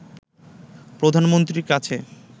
প্রধানমন্ত্রীর কাছে